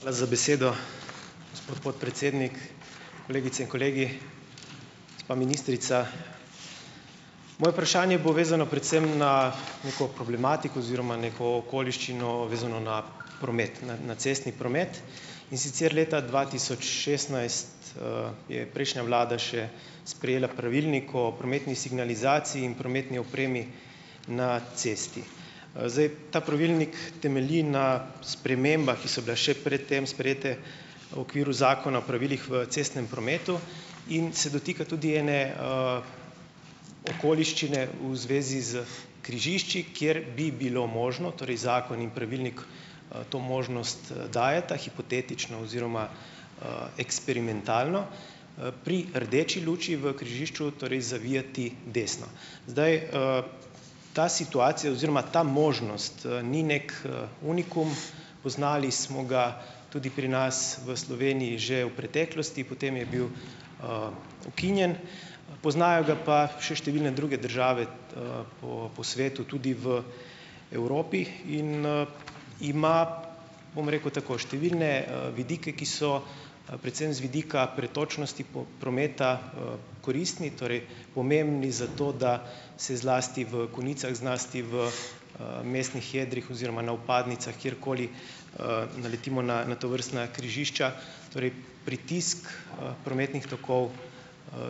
Hvala za besedo. Gospod podpredsednik, kolegice in kolegi, gospa ministrica! Moje vprašanje je povezano predvsem na neko problematiko oziroma neko okoliščino, vezano na promet, na, na cestni promet. In sicer leta dva tisoč šestnajst, je prejšnja vlada še sprejela pravilnik o prometni signalizaciji in prometni opremi na cesti. Zdaj, ta pravilnik temelji na spremembah, ki so bile še pred tem sprejete o okviru Zakona o pravilih v cestnem prometu in se dotika tudi ene, okoliščine v zvezi s križišči, kjer bi bilo možno, torej zakon in pravilnik, to možnost, dajeta, hipotetično oziroma, eksperimentalno, pri rdeči luči v križišču torej zavijati desno. Zdaj, ta situacija oziroma ta možnost, ni neki, unikum . Poznali smo ga tudi pri nas v Sloveniji že v preteklosti, potem je bil, ukinjen. Poznajo ga pa še številne druge države, po po svetu, tudi v Evropi in, ima, bom rekel tako, številne, vidike, ki so, predvsem z vidika pretočnosti prometa, koristni, torej pomembni za to, da se zlasti v konicah, zlasti v, mestnih jedrih oziroma na vpadnicah, kjerkoli, naletimo na na tovrstna križišča, torej pritisk, prometnih tokov,